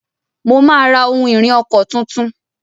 Mo máa ra ohun-ìrìn ọkọ̀ tuntun.